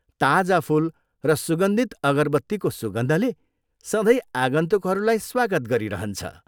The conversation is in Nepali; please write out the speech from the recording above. ताजा फुल र सुगन्धित अगरबत्तीको सुगन्धले सधैँ आगन्तुकहरूलाई स्वागत गरिरहन्छ।